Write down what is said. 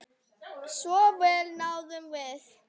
Svo vel náðum við saman.